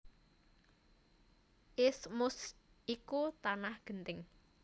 Isthmus iku tanah genting